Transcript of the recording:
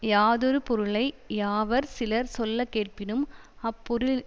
யாதொரு பொருளை யாவர் சிலர் சொல்ல கேட்பினும் அப்பொருளினது